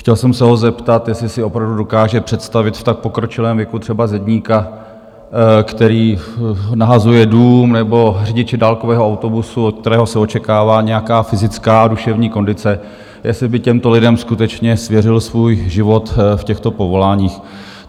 Chtěl jsem se ho zeptat, jestli si opravdu dokáže představit v tak pokročilém věku třeba zedníka, který nahazuje dům, nebo řidiče dálkového autobusu, od kterého se očekává nějaká fyzická a duševní kondice, jestli by těmto lidem skutečně svěřil svůj život v těchto povoláních.